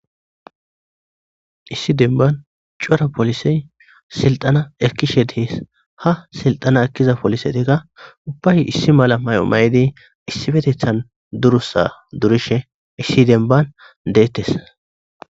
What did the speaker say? issi denban cora polisey silxana ekkishe dehes ha silxana ekkiza polisetekka ubbay issi mala may7omay7idi issi petethan durusa durishe issi denban deettes